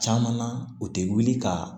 Caman na u tɛ wuli ka